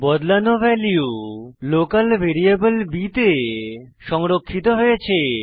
বদলানো value local variable b তে সংরক্ষিত হয়েছে